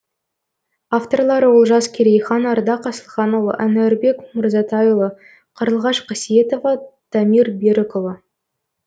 авторлары олжас керейхан ардақ асылханұлы әнуарбек мырзатайұлы қарлығаш қасиетова дамир берікұлы